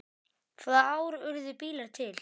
Hvaða ár urðu bílar til?